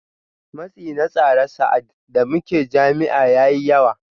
Matsi na tsara sa’ad da muke jami’a ya yi yawa